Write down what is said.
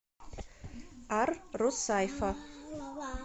ар русайфа